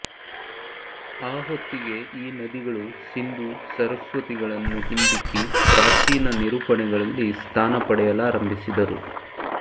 ಆ ಹೊತ್ತಿಗೆ ಈ ನದಿಗಳು ಸಿಂಧೂ ಸರಸ್ವತಿಗಳನ್ನು ಹಿಂದಿಕ್ಕಿ ಪ್ರಾಚೀನ ನಿರೂಪಣೆಗಳಲ್ಲಿ ಸ್ಥಾನ ಪಡೆಯಲಾರಂಭಿಸಿದರು